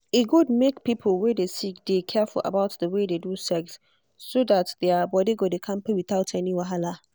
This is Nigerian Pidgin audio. e good make people wey dey sick dey careful about the way they do sex so that their body go dey kampe without any wahala.